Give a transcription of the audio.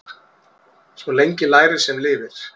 Svo lengi lærir sem lifir.